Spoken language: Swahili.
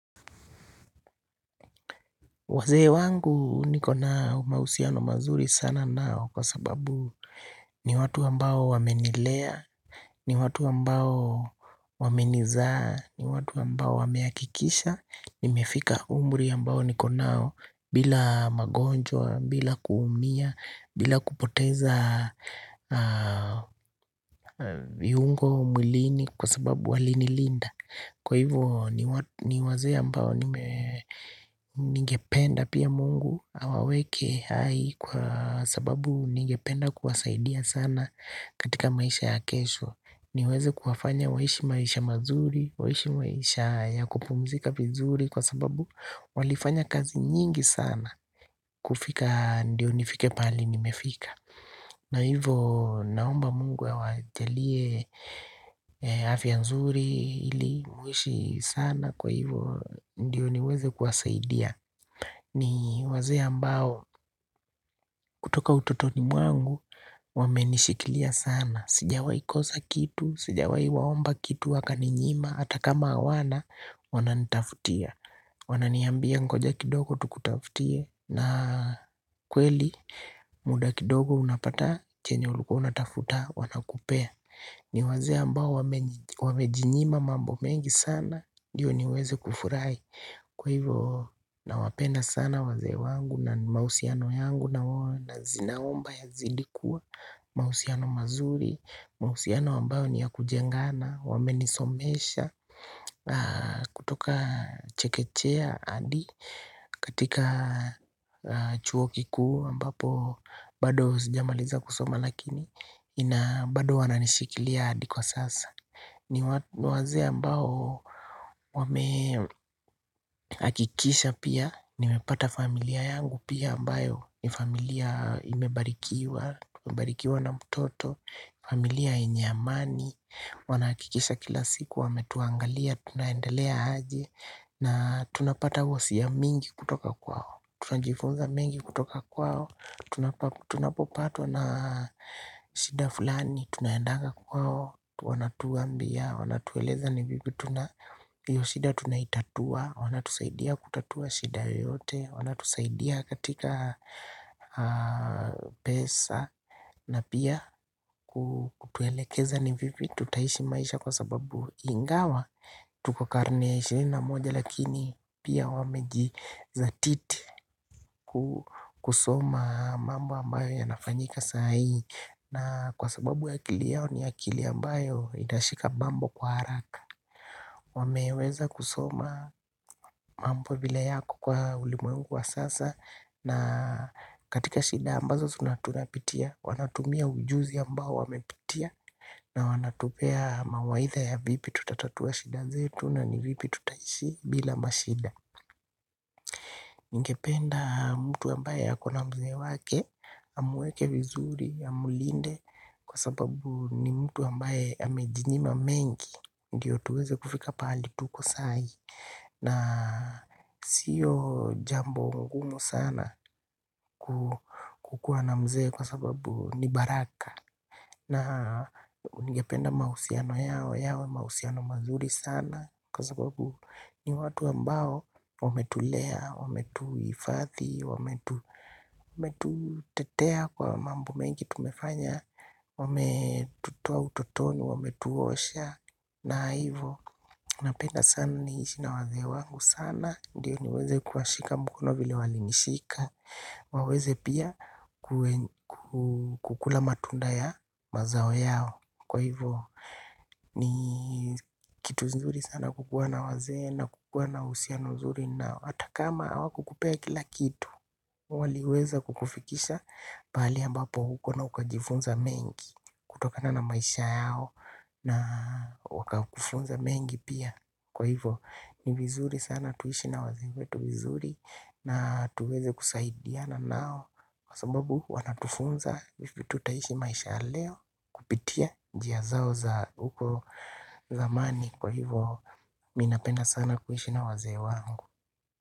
Wazee wangu niko na mahusiano mazuri sana nao kwa sababu ni watu ambao wamenilea, ni watu ambao wamenizaa, ni watu ambao wamehakikisha nimefika umri ambao niko nao bila magonjwa, bila kuumia, bila kupoteza viungo mwilini kwa sababu walinilinda Kwa hivyo ni wazee ambao nigependa pia mungu Awaweke hai kwa sababu ningependa kuwasaidia sana katika maisha ya kesho niweze kuwafanya waishi maisha mazuri, waishi maisha ya kupumzika vizuri Kwa sababu walifanya kazi nyingi sana kufika ndio nifike pahali nimefika na hivyo naomba mungu awajalie afya nzuri ili waishi sana kwa hivyo ndiyo niweze kuwasaidia ni wazee ambao kutoka utotoni mwangu wamenishikilia sana Sijawai kosa kitu, sijawai waomba kitu wakaninyima, hata kama hawana wananitafutia Wananiambia ngoja kidogo tukutafutie na kweli muda kidogo unapata chenye ulikuwa unatafuta wanakupea ni wazee ambao wamejinyima mambo mengi sana ndiyo niweze kufurahi Kwa hivo nawapenda sana wazee wangu na mahusiano yangu na wao naomba yazidi kuwa mahusiano mazuri, mahusiano ambayo ni ya kujengana, wamenisomesha, kutoka chekechea hadi katika chuo kikuu ambapo bado sijamaliza kusoma lakini ina bado wananishikilia hadi kwa sasa ni wazee ambao wame hakikisha pia Nimepata familia yangu pia ambayo ni familia imebarikiwa Tumebarikiwa na mtoto familia yenye amani Wanahakikisha kila siku wametuangalia Tunaendelea aje na tunapata hisia mingi kutoka kwao Tunajifunza mengi kutoka kwao Tunapopatwa na shida fulani Tunaendanga kwao Wanatuambia, wanatueleza ni vipi tuna hiyo shida tunaitatua Wanatusaidia kutatua shida yoyote Wanatusaidia katika pesa na pia kutuelekeza ni vipi tutaishi maisha kwa sababu ingawa Tuko karne ya ishirini na moja lakini pia wamejizatiti kusoma mambo ambayo yanafanyika sahii na kwa sababu akili yao ni akili ambayo itashika mambo kwa haraka wameweza kusoma mambo vile yako kwa ulimwengu wa sasa na katika shida ambazo tunapitia wanatumia ujuzi ambao wamepitia na wanatupea mawaidha ya vipi tutatatua shida zetu na ni vipi tutaishi bila mashida Ningependa mtu ambaye akona mzee wake Amweke vizuri, amulinde Kwa sababu ni mtu ambaye amejinyima mengi Ndiyo tuweze kufika pahali tuko sai na sio jambo ngumu sana kukuwa na mzee kwa sababu ni baraka na ningependa mahusiano yao yawe mahusiano mazuri sana Kwa sababu ni watu ambao wametulea, wametuhifadhi, wametutetea kwa mambo mengi tumefanya Wametutoa utotoni, wametuosha. Na hivo, napenda sana niishi na wazee wangu sana Ndiyo niweze kuwashika mkono vile walinishika waweze pia kukula matunda ya mazao yao Kwa hivo, ni kitu kizuri sana kukuwa na wazee na kukuwa na uhusiano nuzuri nao. Hata kama hawakukupea kila kitu waliweza kukufikisha pahali ambapo uko na ukajifunza mengi kutokana na maisha yao na wakakufunza mengi pia Kwa hivo ni vizuri sana tuishi na wazee wetu vizuri na tuweze kusaidiana nao Kwa sababu wanatufunza vipi tutaishi maisha ya leo Kupitia njia zao za huko zamani Kwa hivo mi napenda sana kuishi na wazee wangu.